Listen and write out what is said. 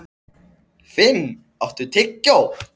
Finn, áttu tyggjó?